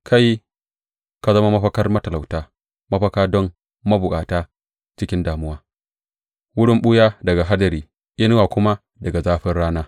Kai ka zama mafakar matalauta, mafaka don mabukata cikin damuwa, wurin ɓuya daga hadari, inuwa kuma daga zafin rana.